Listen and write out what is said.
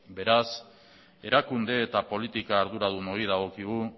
beraz erakunde eta politika arduradunoi dagokigu